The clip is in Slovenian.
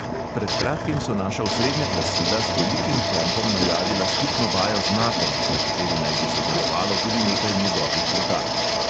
Pred kratkim so naša osrednja glasila z velikim pompom najavila skupno vajo z natom, na kateri naj bi sodelovalo tudi nekaj njegovih letal.